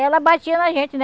Ela batia na gente, né?